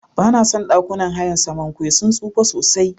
Banason ɗakunan hayan Samankwe sun tsufa sosai.